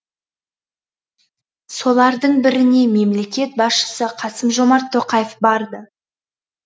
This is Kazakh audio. солардың біріне мемлекет басшысы қасым жомарт тоқаев барды